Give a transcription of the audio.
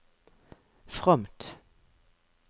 fromt